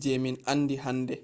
je min andi hande